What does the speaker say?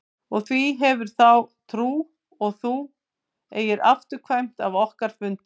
Og hví hefurðu þá trú að þú eigir afturkvæmt af okkar fundi?